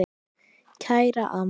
Kæra amma.